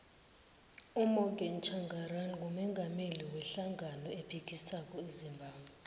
umorgan tshangari ngumungameli we hlangano ephikisako ezimbabwe